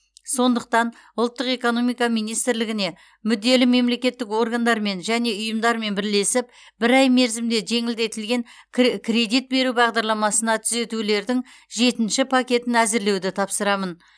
сондықтан ұлттық экономика министрлігіне мүдделі мемлекеттік органдармен және ұйымдармен бірлесіп бір ай мерзімде жеңілдетілген кре кредит беру бағдарламасына түзетулердің жетінші пакетін әзірлеуді тапсырамын